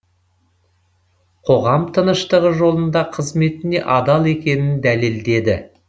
қоғам тыныштығы жолында қызметіне адал екенін дәлелдеді